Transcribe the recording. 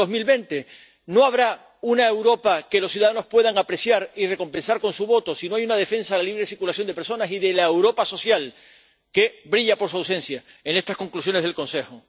2020? No habrá una Europa que los ciudadanos puedan apreciar y recompensar con su voto si no hay una defensa de la libre circulación de personas y de la Europa social, que brilla por su ausencia en estas conclusiones del Consejo.